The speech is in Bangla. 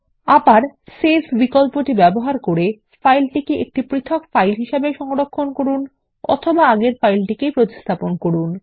আবার আমরা সংরক্ষণ করুন বিকল্প ব্যবহার করে উভয় একটি পৃথক ফাইল রূপে সংরক্ষণ করে অথবা একই ফাইলে প্রতিস্থাপন করতে পারি